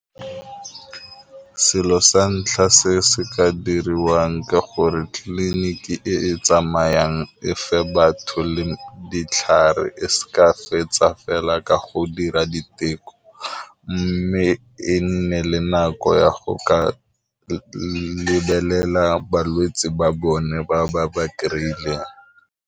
Selo sa ntlha se se ka diriwang ke gore tliliniki e e tsamayang e fa batho le ditlhare, e seka fetsa fela la ka go dira diteko, mme e nne le nako ya go ka lebelela balwetsi ba bone ba ba ba kry ileng.